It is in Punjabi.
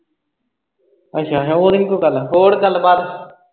ਅੱਛਾ, ਓਹ ਉਹਦੀ ਨੀ ਕੋਈ ਗੱਲ। ਹੋਰ ਗੱਲਬਾਤ?